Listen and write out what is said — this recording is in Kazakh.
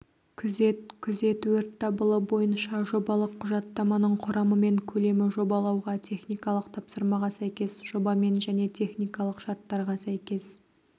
күзет күзет-өрт дабылы бойынша жобалық құжаттаманың құрамы мен көлемі жобалауға техникалық тапсырмаға сәйкес жобамен және техникалық шарттарға сәйкес